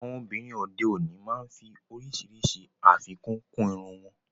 Àwọn obìnrin òde òní máa ń fí oríṣiríṣi afíkún kún ìrún wọn.